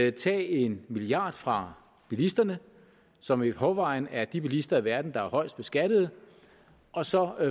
at tage en milliard fra bilisterne som i forvejen er de bilister i verden der er højst beskattede og så